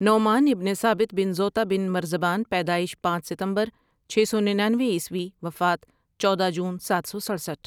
نعمان ابن ثابت بن زوطا بن مرزبان پیدائش پانچ ستمبر چھ سو ننانوے عیسوی وفات چودہ جون ساتھ سو سٹرسٹھ ۔